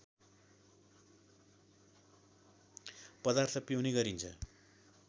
पदार्थ पिउने गरिन्छ